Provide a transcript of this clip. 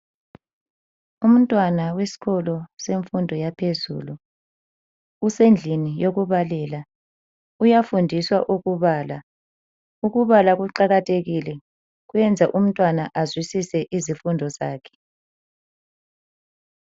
Umntwana wesikolo semfundo yaphezulu usendlini yokubalela ,uyafundiswa ukubala. Ukubala kuqakathekile kwenza umntwana azwisise izifundo zakhe.